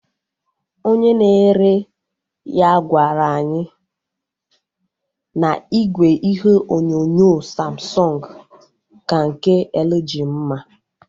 Onye na-ere ya gwaru anyị na igwe ihe onyonyo Samsung ka nke LG mma